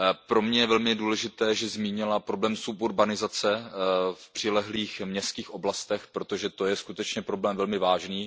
Pro mě je velmi důležité, že zmínila problém suburbanizace v přilehlých městských oblastech, protože to je skutečně problém velmi vážný.